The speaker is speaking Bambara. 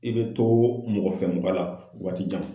I bɛ to mɔgɔfɛmɔgɔ fo waatijan.